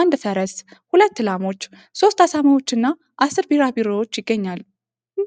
አንድ ፈረስ፣ ሁለት ላሞች፣ ሶስት አሳማዎች እና አስር ቢራቢሮዎች ይገኛሉ።